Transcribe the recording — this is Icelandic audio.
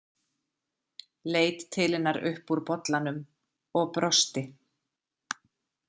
Leit til hennar upp úr bollanum og brosti.